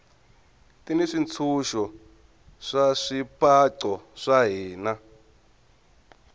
ti ni swintshuxo swa swipaqo swa hina